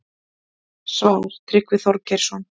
Svar: Tryggvi Þorgeirsson